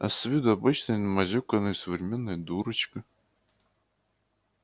а с виду обычная намазюканная современная дурочка